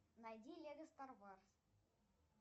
найди лего стар варс